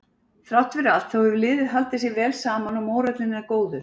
Þrátt fyrir allt þá hefur liðið haldið sér vel saman og mórallinn er góður.